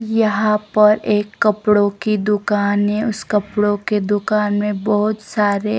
यहां पर एक कपड़ों की दुकान है उस कपड़ों के दुकान में बहुत सारे--